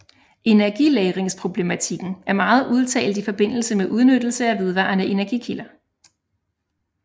Energilagringsproblematikken er meget udtalt i forbindelse med udnyttelse af vedvarende energikilder